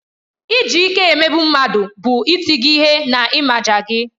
Iji ike emegbu mmadụ bụ ịti gị ihe na ịmaja gị.